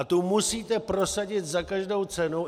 A tu musíte prosadit za každou cenu.